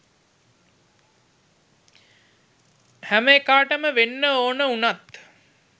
හැම එකාටම වෙන්න ඕන උනත්